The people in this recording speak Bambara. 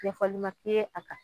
ɲɛfɔli ma k'i ye a kan